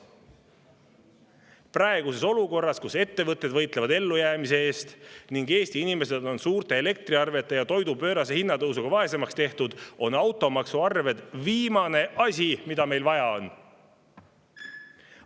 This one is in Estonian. Praeguses olukorras, kus ettevõtted võitlevad ellujäämise eest ning Eesti inimesed on suurte elektriarvete ja toidu pöörase hinnatõusuga vaesemaks tehtud, on automaksuarved viimane asi, mida neil vaja on.